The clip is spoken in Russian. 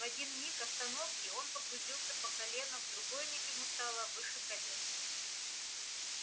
в один миг остановки он погрузился по колено в другой миг ему стало выше колен